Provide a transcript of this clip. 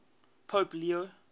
pope leo